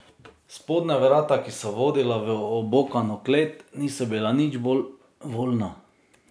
Spodnja vrata, ki so vodila v obokano klet, niso bila nič bolj voljna.